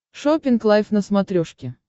шоппинг лайф на смотрешке